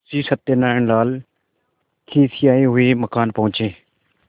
मुंशी सत्यनारायणलाल खिसियाये हुए मकान पहुँचे